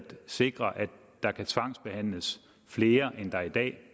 sikre at der kan tvangsbehandles flere end der i dag